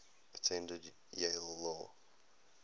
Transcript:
attended yale law